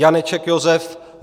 Janeček Josef